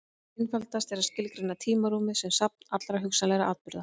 Einfaldast er að skilgreina tímarúmið sem safn allra hugsanlegra atburða.